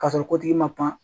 Ka sɔrɔ ko tigi man pan.